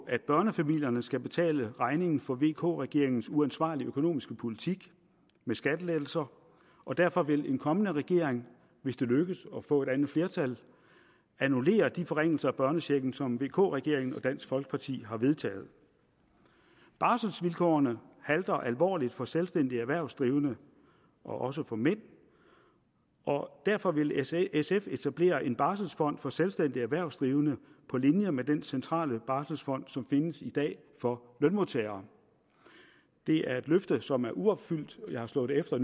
at børnefamilierne skal betale regningen for vk regeringens uansvarlige økonomiske politik med skattelettelser og derfor vil en kommende regering hvis det lykkes at få et andet flertal annullere de forringelser af børnechecken som vk regeringen og dansk folkeparti har vedtaget barselvilkårene halter alvorligt for selvstændigt erhvervsdrivende og også for mænd derfor vil sf sf etablere en barselfond for selvstændigt erhvervsdrivende på linje med den centrale barselfond som findes i dag for lønmodtagere det er et løfte som er uopfyldt jeg har slået det efter